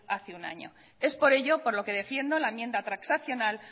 hace un año es por ello por lo que defiendo la enmienda transaccional